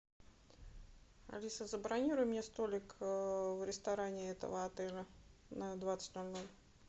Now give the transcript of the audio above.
алиса забронируй мне столик в ресторане этого отеля на двадцать ноль ноль